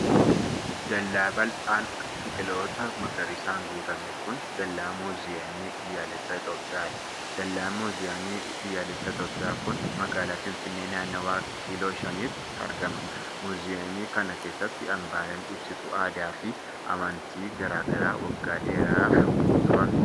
Dallaa bal'aan biqiloota magariisan guutame kun, dallaa muuziyamii biyyaalessa Itoophiyaa dha. Dallaan muuziyamii biyyaalessa Itoophiyaa kun magaalaa Finfinnee, naannawa Kiiloo Shaniitti argama. Muuziyamii kana keessa hambaaleen ibsituu aadaa fi amantii garaa garaa waggaa dheeradhaaf turan ni jiru.